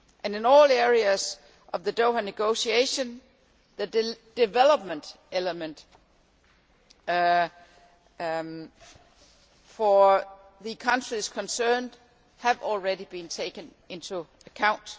In all areas of the Doha negotiations, the development element for the countries concerned has already been taken into account.